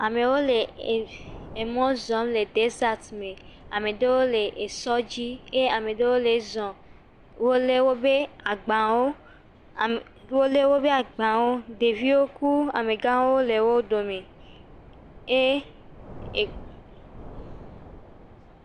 Amewo le ev emɔ zɔm le deset me. Ame aɖewo le esɔ dzi eye ame aɖewo le zɔ. Wole wobe agbawo am wole wobe agbawo. Ɖeviwo ku amegãwo le wo dome e e.